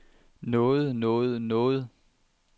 nåde nåde nåde